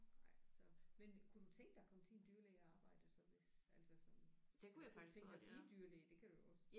Nej så men kunne du tænke dig at komme til en dyrlæge og arbejde så hvis altså sådan eller kunne du tænke dig at blive dyrlæge det kunne du jo også